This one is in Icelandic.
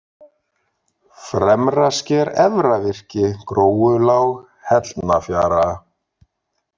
Fremrasker, Efra-Virki, Gróulág, Hellnafjara